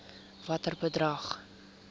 watter bedrag